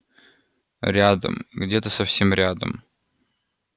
рядом где-то совсем рядом